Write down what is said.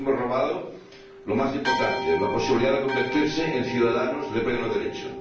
les hemos robado lo más importante la posibilidad de convertirse en ciudadanos de pleno derecho.